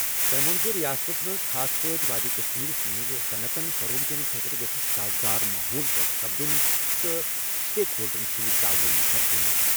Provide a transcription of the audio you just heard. تٔمۍ وۄن زَ رِیاستَس منٛز، خاص پٲٹھۍ وادی کشمیرَس منٛز صنعتَن فروغ دِنہٕ خٲطرٕ سازگار ماحول پٲدٕ سپدُن تہٕ سٹیک ہولڈرَن سۭتۍ تعاون سپدُن۔